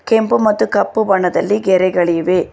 ಕೆಂಪು ಮತ್ತು ಕಪ್ಪು ಬಣ್ಣದಲ್ಲಿ ಗೆರೆಗಳಿವೆ.